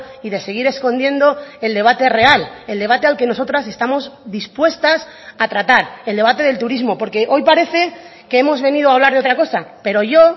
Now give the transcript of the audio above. y de seguir escondiendo el debate real el debate al que nosotras estamos dispuestas a tratar el debate del turismo porque hoy parece que hemos venido a hablar de otra cosa pero yo